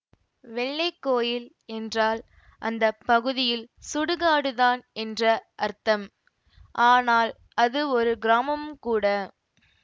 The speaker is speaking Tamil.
வெள்ளைக்கோயில் என்றால் அந்த பகுதியில் சுடுகாடு தான் என்ற அர்த்தம் ஆனால் அது ஒரு கிராமமும் கூட